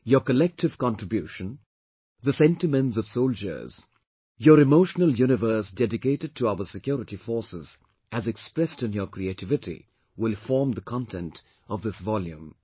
Your collective contribution, the sentiments of soldiers, your emotional universe dedicated to our security forces as expressed in your creativity will form the content of this volume